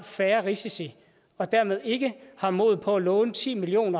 færre risici og dermed ikke har mod på at låne ti million